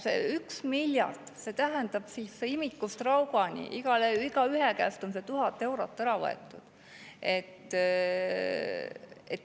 See 1 miljard tähendab, et imikust raugani, igaühe käest on 1000 eurot ära võetud.